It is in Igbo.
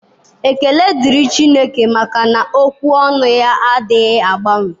Ekele dịrị Chineke, maka na ókwú ọnụ ya adịghị agbanwe.